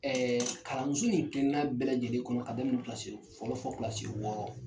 Ɛɛ kalanso in keleni kelen na bɛɛ lajɛlen kɔnɔ. K" a daminɛ kilasi fɔlɔ fɔ kilasi wɔɔrɔ.